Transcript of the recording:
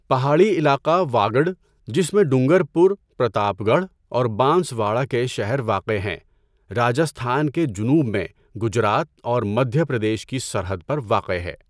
پہاڑی علاقہ واگڈ، جس میں ڈونگر پور، پرتاپ گڑھ اور بانس واڑہ کے شہر واقع ہیں، راجستھان کے جنوب میں، گجرات اور مدھیہ پردیش کی سرحد پر واقع ہے۔